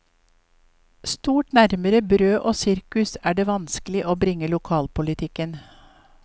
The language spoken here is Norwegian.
Stort nærmere brød og sirkus er det vanskelig å bringe lokalpolitikken.